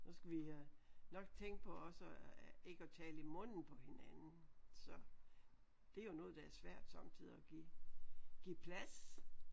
Så skal vi øh nok tænke på også at ikke at tale i munden på hinanden så det er jo noget der er svært sommetider at give give plads